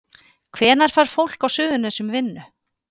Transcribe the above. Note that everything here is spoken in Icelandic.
Hvenær fær fólk á Suðurnesjum vinnu?